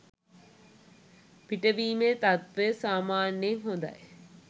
පිටවීමේ තත්වය සාමාන්‍යයෙන් හොඳයි